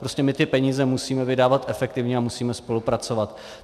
Prostě my ty peníze musíme vydávat efektivně a musíme spolupracovat.